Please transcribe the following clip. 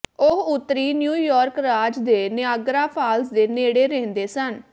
ਉਹ ਉੱਤਰੀ ਨਿਊਯਾਰਕ ਰਾਜ ਦੇ ਨਿਆਗਰਾ ਫਾਲਸ ਦੇ ਨੇੜੇ ਰਹਿੰਦੇ ਸਨ